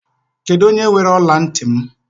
Kedụ onye weere ọla ntị m?